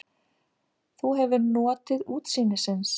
Þú hefur notið útsýnisins?